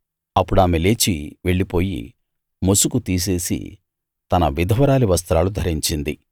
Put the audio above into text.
అప్పుడామె లేచి వెళ్లిపోయి ముసుగు తీసేసి తన విధవరాలి వస్త్రాలు ధరించింది